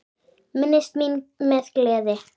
Minnist mín með gleði.